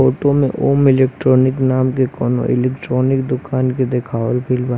photo में ॐ electronic नाम के कोनो एलेक्ट्रोनिक के देखवाल गेल बा--